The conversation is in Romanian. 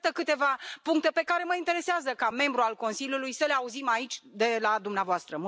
Iată câteva puncte pe care mă interesează, ca membru al Consiliului, să le auzim aici de la dumneavoastră.